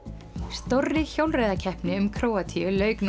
stórri hjólreiðakeppni um Króatíu lauk nú